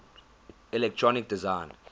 electronic design